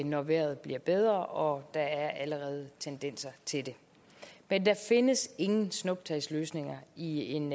når vejret bliver bedre og der er allerede tendenser til det men der findes ingen snuptagsløsninger i en